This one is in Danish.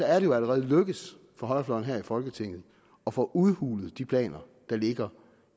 er det jo allerede lykkedes for højrefløjen her i folketinget at få udhulet de planer der ligger